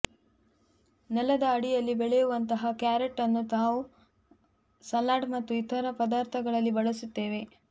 ನೆಲದ ಅಡಿಯಲ್ಲಿ ಬೆಳೆಯುವಂತಹ ಕ್ಯಾರೆಟ್ ಅನ್ನು ನಾವು ಸಲಾಡ್ ಮತ್ತು ಇತರ ಪದಾರ್ಥಗಳಲ್ಲಿ ಬಳಸುತ್ತೇವೆ